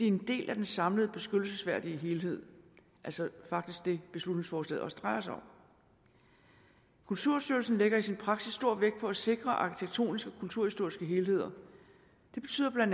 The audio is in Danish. en del af den samlede beskyttelsesværdige helhed altså faktisk det beslutningsforslaget også drejer sig om kulturstyrelsen lægger i sin praksis stor vægt på at sikre arkitektoniske og kulturhistoriske helheder det betyder bla